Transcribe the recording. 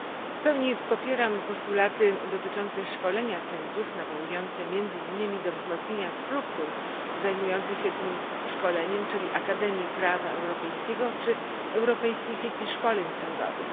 W pełni popieram postulaty dotyczące szkolenia sędziów nawołujące między innymi do wzmocnienia struktur zajmujących się tym szkoleniem, czyli Akademii Prawa Europejskiego czy europejskiej sieci szkoleń sądowych.